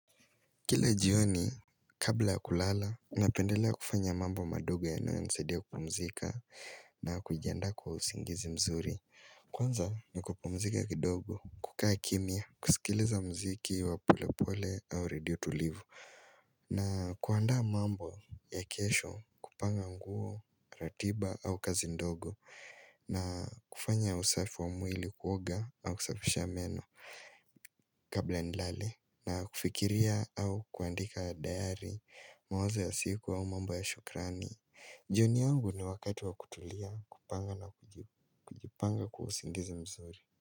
Kila jioni kabla ya kulala napendelea kufanya mambo madogo yanayonisaidia kupumzika na kujiandaa kwa usingizi mzuri. Kwanza ni kupumzika kidogo, kukaa kimya, kusikiliza muziki wa polepole au redio tulivu. Na kuandaa mambo ya kesho, kupanga nguo, ratiba au kazi ndogo. Na kufanya usafi wa mwili kuoga na kusafisha meno kabla nilale, na kufikiria au kuandika diary, mawazo ya siku au mambo ya shukurani. Jioni yangu ni wakati wa kutulia, kupanga na kujipanga kwa usingizi mzuri.